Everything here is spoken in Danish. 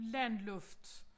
Landluft